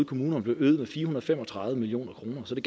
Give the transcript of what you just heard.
kommunerne øget med fire og fem og tredive million kroner så det